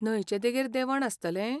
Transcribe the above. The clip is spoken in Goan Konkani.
न्हंयचे देगेर देंवण आसतलें?